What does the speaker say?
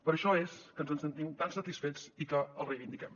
per això és que ens en sentim tan satisfets i que el reivindiquem